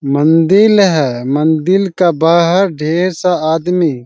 मंदील है मंदील का बाहर ढेर सा आदमी--